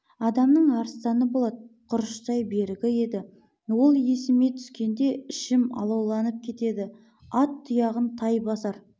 адамның арыстаны болат құрыштай берігі еді ол есіме түскенде ішім алауланып кетеді ат тұяғын тай басар